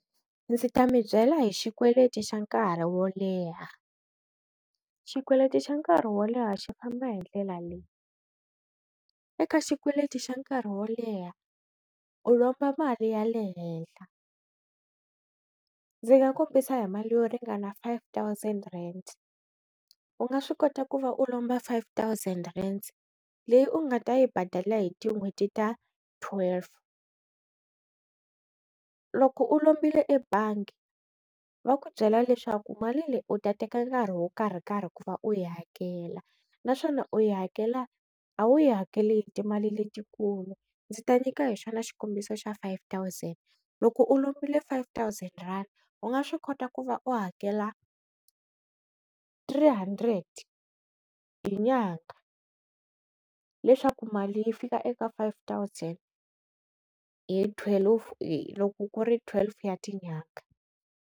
Ndzi ta mi byela hi xikweleti xa nkarhi wo leha, xikweleti xa nkarhi wo leha xi famba hindlela leyi eka xikweleti xa nkarhi wo leha u lomba mali ya le henhla ndzi nga kombisa hi mali yo ringana five thousand rand u nga swi kota ku va u lomba five thousand rand leyi u nga ta yi badala hi tin'hweti ta twelve, loko u lombile ebangi va ku byela leswaku mali leyi u ta teka nkarhi wo karhi karhi ku va u yi hakela naswona u yi hakela a wu yi hakeli hi timali letikulu, ndzi ta nyika hi xona xikombiso xa five thousand loko u lombile five thousand rand u nga swi kota ku va u hakela three hundred hi nyangha leswaku mali yi fika eka five thousand hi twelve i loko ku ri twelve ya tinyanga.